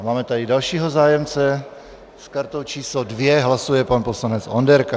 A máme tady dalšího zájemce, s kartou číslo 2 hlasuje pan poslanec Onderka.